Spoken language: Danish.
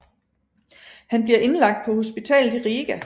Han bliver indlagt på hospitalet i Riga